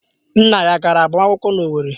Nna ya a gara agbamakwụkwọ n'Owerre?